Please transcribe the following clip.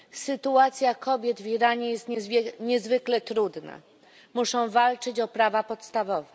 Sytuacja kobiet w Iranie jest niezwykle trudna. Muszą walczyć o prawa podstawowe.